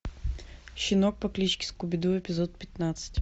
щенок по кличке скуби ду эпизод пятнадцать